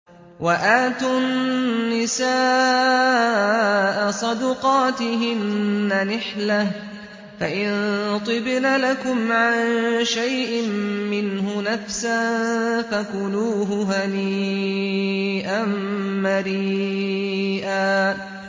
وَآتُوا النِّسَاءَ صَدُقَاتِهِنَّ نِحْلَةً ۚ فَإِن طِبْنَ لَكُمْ عَن شَيْءٍ مِّنْهُ نَفْسًا فَكُلُوهُ هَنِيئًا مَّرِيئًا